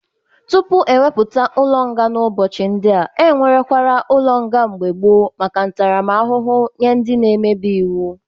Tupu ewepụta ụlọ nga n'ụbọchị ndị a, enwerekwara ụlọ nga n'mgbe gboo maka ntaramahụhụ nye ndị nemebi iwu.